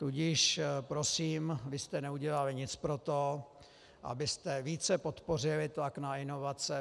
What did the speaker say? Tudíž prosím, vy jste neudělali nic pro to, abyste více podpořili tlak na inovace.